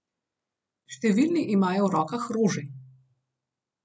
Številni imajo v rokah rože.